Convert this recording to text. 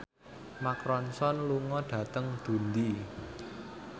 Mark Ronson lunga dhateng Dundee